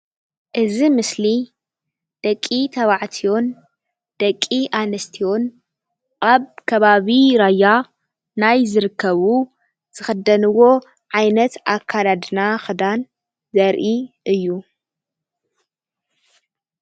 እዚ ምስሊ ደቂ-ተባዕትዮን ደቂ-ኣንስትዮን ኣብ ከባቢ ራያ ናይ ዝርከቡ ዝኽደንዎ ዓይነት ኣከዳድና ኽዳን ዘርኢ እዩ።